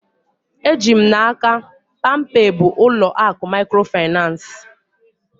Eji m n'aka, palmpay bụ ụlọ akụ mikrofinansi